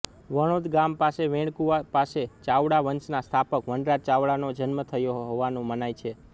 વણોદ ગામ પાસે વેણકુવા પાસે ચાવડા વંશના સ્થાપક વનરાજ ચાવડાનો જન્મ થયો હોવાનું મનાય છે